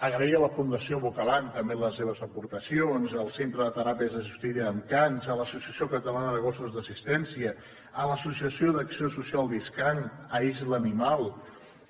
agrair a la fundació bocalan també les seves aportacions al centre de teràpies assistides amb cans a l’associació catalana de gossos d’assistència a l’associació d’acció social discan a isla animal